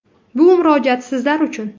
Bu murojaat sizlar uchun.